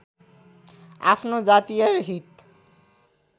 आफ्नो जातीय हित